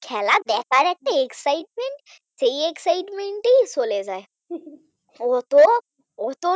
খেলা দেখার একটা excitement নেই সেই excitement চলে যায় অত অত